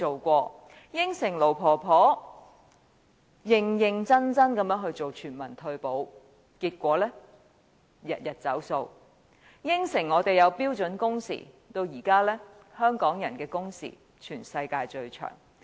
他向盧婆婆承諾會認認真真做全民退保，結果天天"走數"；他向我們承諾會推行標準工時，但如今香港人的工時是全世界最長的。